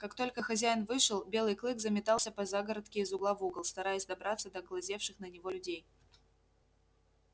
как только хозяин вышел белый клык заметался по загородке из угла в угол стараясь добраться до глазевших на него людей